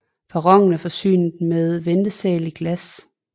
Perronen er forsynet med ventesal i glas